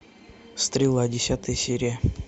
стрела десятая серия